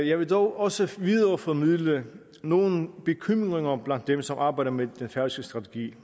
jeg vil dog også videreformidle nogle bekymringer blandt dem som arbejder med den færøske strategi